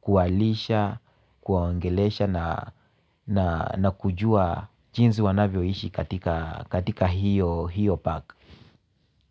kuwalisha, kuwaongelesha na na kujua jinsi wanavyoishi katika hiyo park.